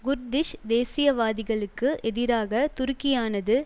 Kurdish தேசியவாதிகளுக்கு எதிராக துருக்கியானது